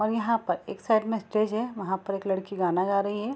और यहाँ पर एक साइड में स्टेज हैं वहाँ पर एक लड़की गाना गा रही है।